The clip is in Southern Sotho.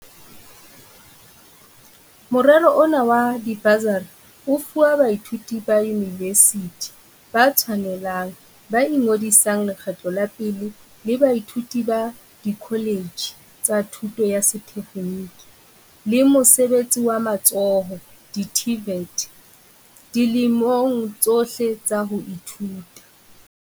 Morero ona wa dibasari o fuwa baithuti ba yunivesithi ba tshwanelang ba ingodisang lekgetlo la pele le baithuti ba dikholetjhe tsa thuto ya sethe kgeniki le mosebetsi wa matsoho di-TVET, dilemong tsohle tsa ho ithuta.